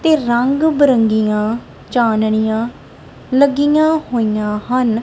ਤੇ ਰੰਗ ਬਿਰੰਗੀਆਂ ਚਾਣਨੀਆਂ ਲੱਗੀਆਂ ਹੋਈਆਂ ਹਨ।